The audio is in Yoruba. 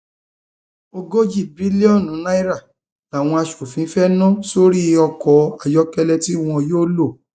ogójì bílíọnù náírà làwọn aṣòfin fee nà sórí ọkọ ayọkẹlẹ tí wọn yóò lò